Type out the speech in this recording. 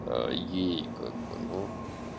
ей как бы ну